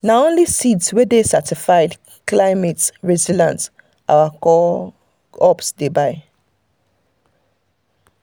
na only seeds wey dey certified cliemate-resilient our co-ops dey buy.